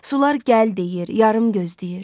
Sular gəl deyir, yarım gözləyir.